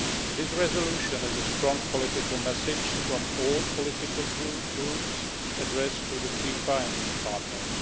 This resolution is a strong political message from all political groups addressed to FIFA and its partners.